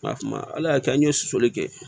Nka kuma ala y'a kɛ an ye sosoli kɛ